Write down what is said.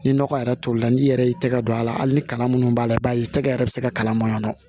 Ni nɔgɔ yɛrɛ tolila n'i yɛrɛ y'i tɛgɛ don a la hali ni kalan minnu b'a la i b'a ye tɛgɛ yɛrɛ bɛ se ka kala mɔɲɔn